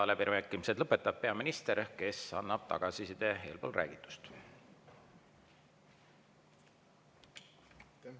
Ja läbirääkimised lõpetab peaminister, kes annab tagasiside eelpool räägitu kohta.